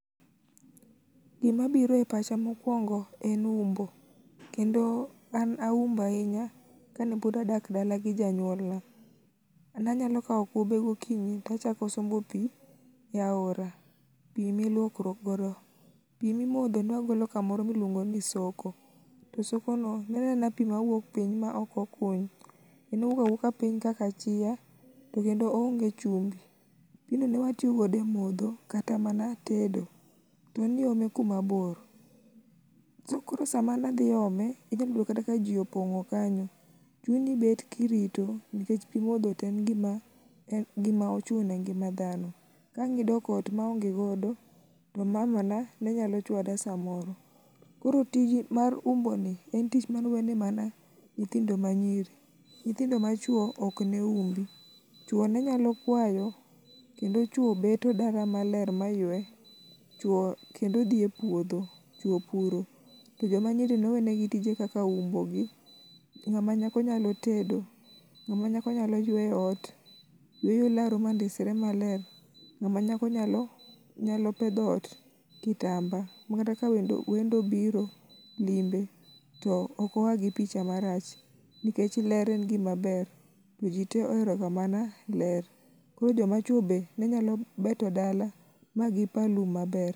Gima biro e pacha mokuongo en umbo kendo an aumbo ahinya kane pod adak dala gi janyuolna. Ne anyalo kawo kube gokinyi to achako sombo pi e aora . Pi miluokruok godo. Pi mar modho ne wagolo kamoro miluongo ni soko. To sokono, ne en aena pi mawuok piny maok okuny. En owuok awuoka piny kaka achiya to kendo oonge chumbi. Pigni ne watiyo godo e modho kata mana tedo. En iome kuma bor . To koro sama ne adhi ome, inyalo yudo kata kaji opong'o kanyo, chuni ibet kirito nikech pi modho to en gima ochuno e ngima dhano. Ka ang' idok ot maonge godo to mamana ne nyalo chuada samoro. Koro tijni mar umboni en tich mane owene mana nyithindo manyiri. Nyithindo machuo ok ne umbi, chuo ne nyalo kwayo kendo chwo beto dala maler mayue, chwo kendo dhi e puodho chwo puro to joma nyiri ne owenegi tije kaka umbogi, ng'ama nyako nyalo tedo, ng'ama nyako nyalo ywe ot ywe laro mandisre maler. Ng'ama nyako nyalo nyalo pedho ot, kitamba makata ka welo wendo obiro limbe to ok oa gi picha marach nikech ler gimaber to jitee ohero ga mana ler koro jomachuo be ne nyalo beto dala magi paa lum maber.